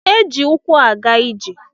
Eji ukwu aga ije.